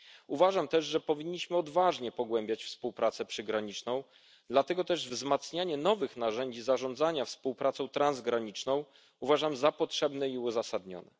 przygraniczne. Uważam też, że powinniśmy odważnie pogłębiać współpracę przygraniczną, dlatego też wzmacnianie nowych narzędzi zarządzania współpracą transgraniczną uważam za potrzebne